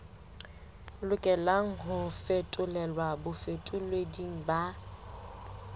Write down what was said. lokelang ho fetolelwa bafetoleding ba